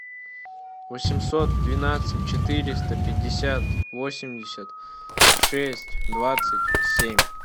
восемьсот двенадцать четыреста пятьдесят восемьдесят шесть двадцать семь